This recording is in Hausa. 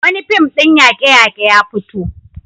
Wani fim ɗin yaƙe-yaƙe ya fito.